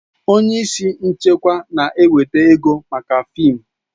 Onye isi nchịkwa na-eweta ego maka fịịm